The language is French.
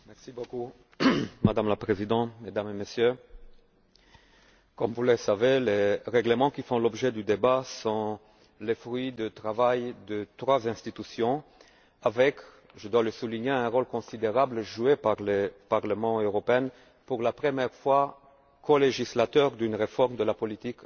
Madame la Présidente, Mesdames et Messieurs, comme vous le savez, les règlements qui font l'objet du débat sont le fruit d'un travail de trois institutions, avec je dois le souligner un rôle considérable joué par le Parlement européen, pour la première fois co législateur d'une réforme de la politique agricole commune.